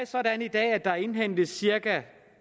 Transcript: sådan at der indhentes cirka